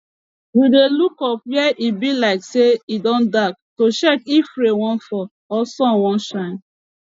we dey look up when e be like say e don dark to check if rain wan fall or sun wan shine